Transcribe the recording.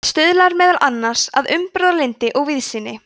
það stuðlar meðal annars að umburðarlyndi og víðsýni